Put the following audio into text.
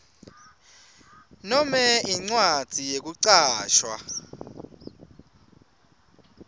nome incwadzi yekucashwa